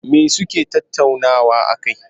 Me suke tattauna a kai?